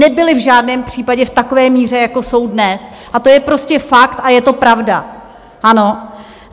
Nebyli v žádném případě v takové míře, jako jsou dnes, a to je prostě fakt a je to pravda.